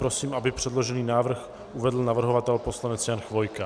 Prosím, aby předložený návrh uvedl navrhovatel poslanec Jan Chvojka.